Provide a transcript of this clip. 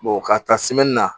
ka taa na